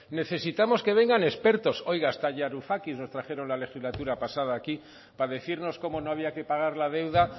necesitamos que vengan expertos oiga hasta varoufakis nos trajeron la legislatura pasada aquí para decirnos cómo no había que pagar la deuda